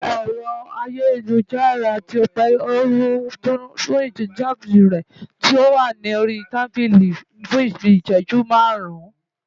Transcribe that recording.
ẹ̀rọ ayélujára tọ́pẹ́ ti ń dún nínú báàgì rẹ̀ tó wà lórí tábílì fun bíi ị̀ṣẹjú márùn-ún